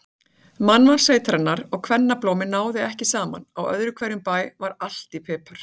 Mannval sveitarinnar og kvennablómi náði ekki saman, á öðrum hverjum bæ var allt í pipar.